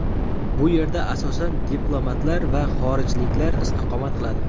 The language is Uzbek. Bu yerda asosan diplomatlar va xorijliklar istiqomat qiladi.